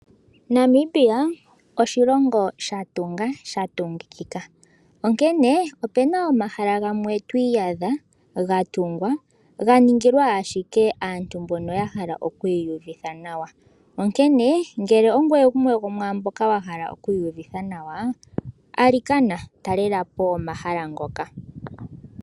Namibia oshilongo shatunga shatungikika onkene opena omahala gamwe twiiyadha gatungwa ganingilwa ashike aantu mbono yahala okwiiyuvitha nawa. Ngele ongweye gumwe gwomwaambono yahala okwiiyuvitha nawa, ali kana talelapo omahala ngoka.